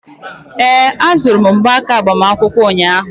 ee, azụrụ m mgbanaka agbamakwụkwọ ụnyahụ